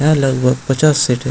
यहां लगभग पचास सीटे --